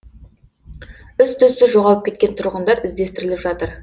із түзсіз жоғалып кеткен тұрғындар іздестіріліп жатыр